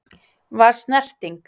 Var snerting?